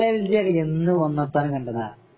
Belgium എല്ലാം എന്ന് ഒന്നാം സ്ഥാനം കണ്ടതാ